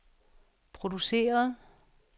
produceret